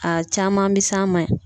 A caman be s'an ma yan.